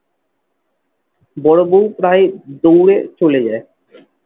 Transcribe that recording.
বড় বৌ প্রায় দৌড়ে চলে যায়।